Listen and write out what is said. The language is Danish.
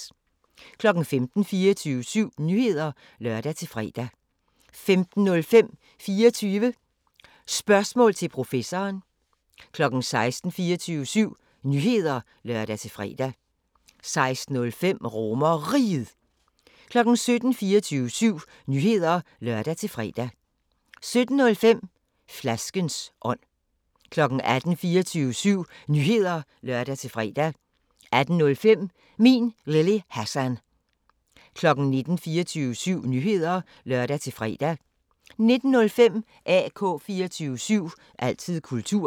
15:00: 24syv Nyheder (lør-fre) 15:05: 24 Spørgsmål til Professoren 16:00: 24syv Nyheder (lør-fre) 16:05: RomerRiget 17:00: 24syv Nyheder (lør-fre) 17:05: Flaskens ånd 18:00: 24syv Nyheder (lør-fre) 18:05: Min Lille Hassan 19:00: 24syv Nyheder (lør-fre) 19:05: AK 24syv – altid kultur